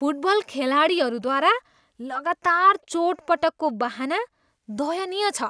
Football खेलाडीहरूद्वारा लगातार चोटपटकको बहाना दयनीय छ।